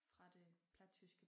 Fra det plattyske